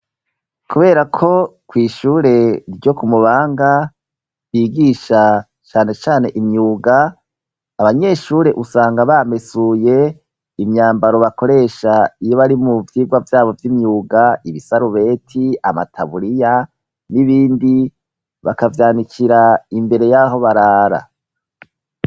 Kubera ko kw'ishure ryo ku Mubanga bigisha cane cane imyuga, abanyeshure usanga bamesuye imyambaro bakoresha iyo bari mu vyigwa vyabo vy'imyuga, ibisarubeti, amataburiya n'ibindi bakavyanikira imbere y'aho barara.